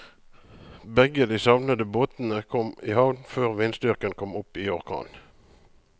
Begge de savnede båtene kom i havn før vindstyrken kom opp i orkan.